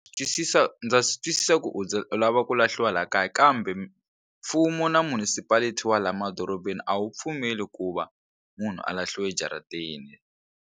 Swi twisisa ndza swi twisisa ku u za u lava ku lahliwa laha kaya kambe mfumo na municipality wa laha madorobeni a wu pfumeli ku va munhu a lahliwa ejaratini.